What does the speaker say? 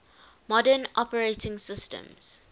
modern operating systems